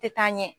Tɛ taa ɲɛ